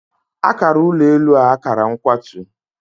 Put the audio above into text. Akara ụlọ elu a, akara mkwatu